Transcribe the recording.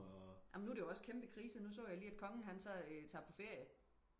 amen nu er det jo også kæmpe krise nu så jeg lige at kongen han så tager på ferie